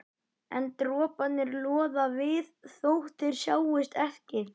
En droparnir loða við þótt þeir sjáist ekki.